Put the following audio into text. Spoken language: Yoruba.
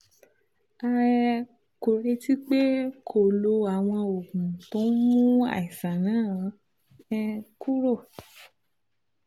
a um kò retí pé kó o lo àwọn oògùn tó ń mú àìsàn náà um kúrò